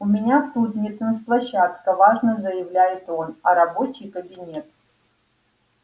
у меня тут не танцплощадка важно заявляет он а рабочий кабинет